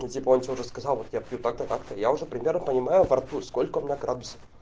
и типа он что-то сказал вот я пью так-то так-то я уже примерно понимаю во рту сколько у меня градусов